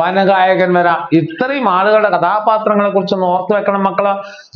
വനഗായകൻ വരാം ഇത്രയും ആളുകൾ കഥാപാത്രങ്ങളെകുറിച്ച് ഓർത്തു വെക്കണം മക്കൾ